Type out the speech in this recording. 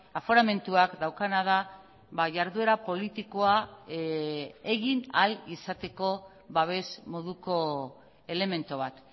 aforamentuak daukana da jarduera politikoa egin ahal izateko babes moduko elementu bat